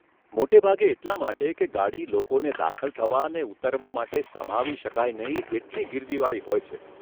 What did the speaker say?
મોટે ભાગે એટલાં માટે કે ગાડી વચ્ચે લોકોને દાખલ થવા ને ઉતરવા માટે સમાવી શકાય નહીં એટલી ગીર્દીવાળી હોય છે.